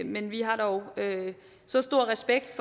men vi har dog så stor respekt